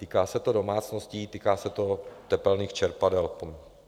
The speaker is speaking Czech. Týká se to domácností, týká se to tepelných čerpadel.